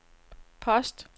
post